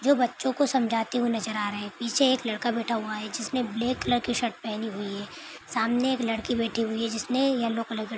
--जो बच्चों को समझाती हुई नज़र आ रहे है पीछे एक लड़का बैठा हुआ है जिसने ब्लैक कलर की शर्ट पहनी हुई है सामने एक लड़की बैठी हुई हैजिसने येलो कलर का--